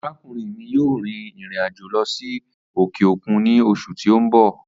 Arakunrin mi yoo rin irin ajo lọ si okeokun ni oṣu ti n bọ